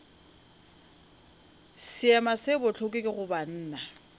seema se bohloko go banna